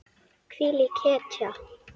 Hvílík hetja.